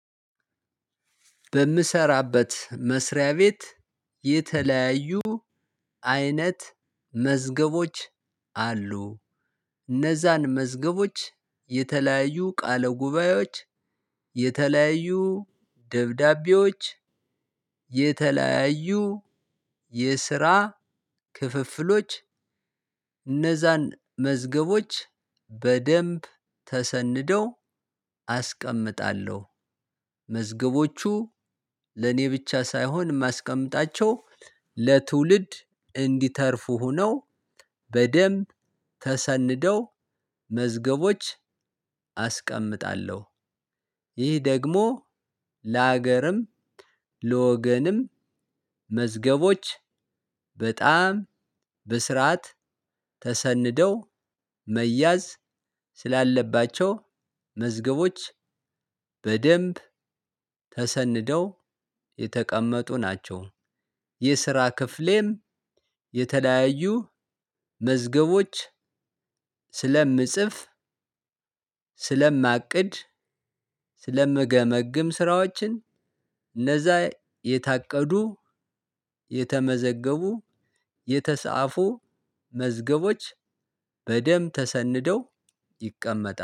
በምሰራበት መስሪያ ቤት የተለያዩ አይነት መዝገቦች አሉ። እነዛን መዝገቦች የተለያዩ ቃለ ጉባኤዎች የተለያዩ ደብዳቤዎች የተለያዩ የስራ ክፍፍሎች እነዛን መዝገቦች በደንብ ተሰንደው አስቀምጣለሁ። መዝገቦቹ ለኔ ብቻ ሳይሆን ማስቀምጣቸው ለትውልድ እንዲተርፉ ሆነው በደንብ ተሰንደው መዝገቦች አስቀምጣለሁ። ይህ ደግሞ ለሀገርም ለወገንም መዝገቦች በጣም በስርዓት ተሰንደው መያዝ ስላለባቸው መዝገቦች በደንብ ተሰንደው የተቀመጡ ናቸው። የስራ ክፍሌም የተለያዩ መዝገቦች ስለምጽፍ ስለማቅድ ስለምገመግም ስራዎችን እነዛ የታቀዱ የተመዘገቡ የተጻፉ መዝገቦች በደንብ ተሰንደው ይቀመጣል